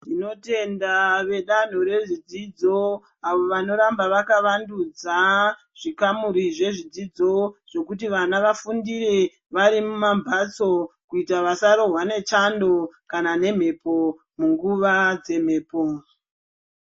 Tinotenda vedanho rezvidzidzo avo vanoramba vakavandudza zvikamuri zvedzidzo zvekuti vana vafundire vari mumamphatso kuita vasarohwa nechando kana nemhepo munguva dzemhepo.